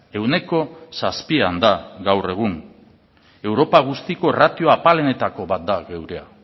ehuneko zazpian da gaur egun europa guztiko ratio apalenetako bat da gurea